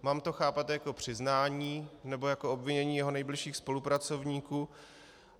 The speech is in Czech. Mám to chápat jako přiznání, nebo jako obvinění jeho nejbližších spolupracovníků?